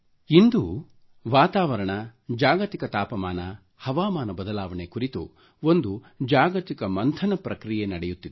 ಇಂದು ವಾತಾವರಣ ಜಾಗತಿಕ ತಾಪಮಾನ ಹವಾಮಾನ ಬದಲಾವಣೆ ಒಂದು ಜಾಗತಿಕ ಮಂಥನದ ಪ್ರಕ್ರಿಯೆ ನಡೆಯುತ್ತಿದೆ